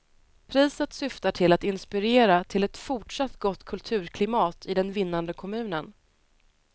Priset syftar till att inspirera till ett fortsatt gott kulturklimat i den vinnande kommunen.